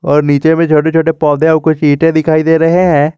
और नीचे में छोटे छोटे पौधे और कुछ ईंटे दिखाई दे रहे हैं।